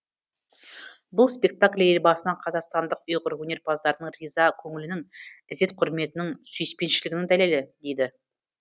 бұл спектакль елбасына қазақстандық ұйғыр өнерпаздарының риза көңілінің ізет құрметінің сүйіспеншілігінің дәлелі дейді